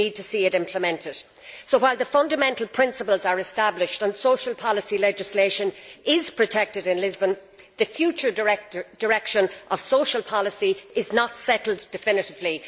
We need to see it implemented. So, while the fundamental principles are established and social policy legislation is protected in the Lisbon Treaty, the future direction of social policy is not settled definitively.